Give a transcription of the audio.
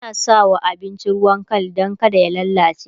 ana sawa abinci ruwan Kal Dan kada ya lallace